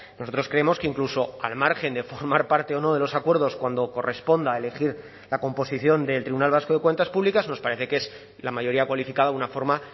nosotros creemos que incluso al margen de formar parte o no de los acuerdos cuando corresponda elegir la composición del tribunal vasco de cuentas públicas nos parece que es la mayoría cualificada una forma